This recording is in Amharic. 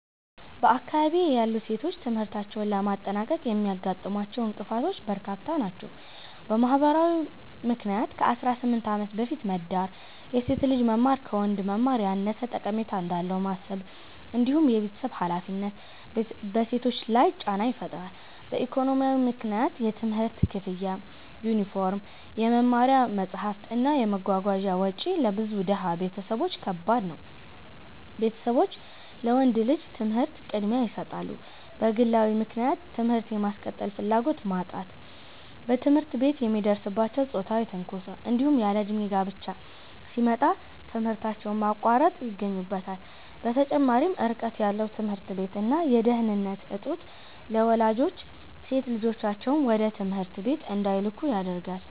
በአካባቢዬ ያሉ ሴቶች ትምህርታቸውን ለማጠናቀቅ የሚያጋጥሟቸው እንቅፋቶች በርካታ ናቸው። በማህበራዊ ምክንያት ከ18 ዓመት በፊት መዳር፣ የሴት ልጅ መማር ከወንድ መማር ያነሰ ጠቀሜታ እንዳለው ማሰብ፣ እንዲሁም የቤተሰብ ሃላፊነት በሴቶች ላይ ጫና ይፈጥራሉ። በኢኮኖሚያዊ ምክንያት የትምህርት ክፍያ፣ የዩኒፎርም፣ የመማሪያ መጽሐፍት እና የመጓጓዣ ወጪ ለብዙ ድሃ ቤተሰቦች ከባድ ነው፤ ቤተሰቦች ለወንድ ልጅ ትምህርት ቅድሚያ ይሰጣሉ። በግለዊ ምክንያት ትምህርት የማስቀጠል ፍላጎት ማጣት፣ በትምህርት ቤት የሚደርስባቸው ጾታዊ ትንኮሳ፣ እንዲሁም ያለእድሜ ጋብቻ ሲመጣ ትምህርታቸውን ማቋረጥ ይገኙበታል። በተጨማሪም ርቀት ያለው ትምህርት ቤት እና የደህንነት እጦት ለወላጆች ሴት ልጆቻቸውን ወደ ትምህርት ቤት እንዳይልኩ ያደርጋል።